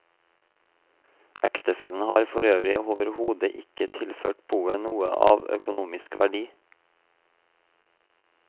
Ektefellen har forøvrig overhodet ikke tilført boet noe av økonomisk verdi.